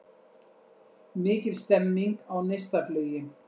Mikil stemming á Neistaflugi